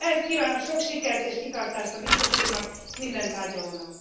Ehhez kívánok sok sikert és kitartást a Biztos Úrnak, és minden tárgyalónak.